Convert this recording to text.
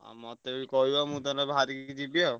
ଆଉ ମତେ ବି କହିବ ମୁଁ ତାହେଲେ ବାହାରିକି ଯିବି ଆଉ।